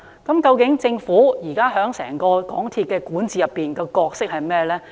究竟現時政府在整個港鐵公司管治的角色為何呢？